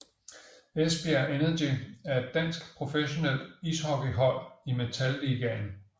Esbjerg Energy er et dansk professionelt ishockeyhold i Metal Ligaen